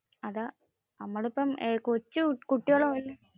നമ്മളിപ്പോ കൊച്ചു കുട്ട്യോള്.